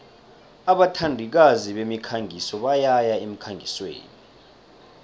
abathandikazi bemikhangiso bayaya emkhangisweni